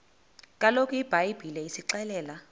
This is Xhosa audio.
kaloku ibhayibhile isixelela